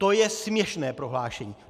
To je směšné prohlášení!